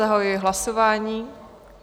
Zahajuji hlasování.